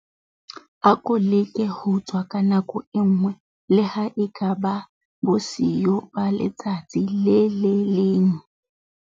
Ako leke ho tswa ka nako e nngwe, le ha e ka ba bosiyo ba letsatsi le le leng.